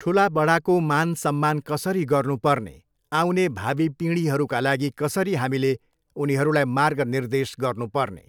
ठुलाबडाको मान सम्मान कसरी गर्नु पर्ने, आउने भावी पिँढीहरूका लागि कसरी हामीले उनीहरूलाई मार्ग निर्देश गर्नुपर्ने।